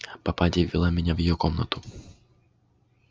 попадья ввела меня в её комнату